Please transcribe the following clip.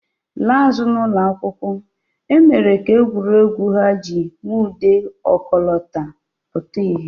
Laa azụ n'ụlọ akwụkwọ, e mere ka egwuregwu ha ji nwude ọkọlọtọ pụta ìhè